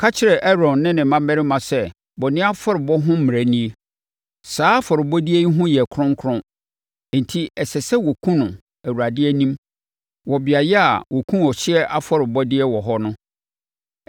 “Ka kyerɛ Aaron ne ne mmammarima sɛ bɔne afɔrebɔ ho mmara nie: Saa afɔrebɔdeɛ yi ho yɛ kronkron yie enti ɛsɛ sɛ wɔkum no Awurade anim wɔ beaeɛ a wɔkum ɔhyeɛ afɔrebɔdeɛ wɔ hɔ no.